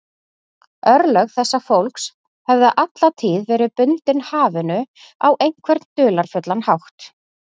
Örlög þessa fólks höfðu alla tíð verið bundin hafinu á einhvern dularfullan hátt.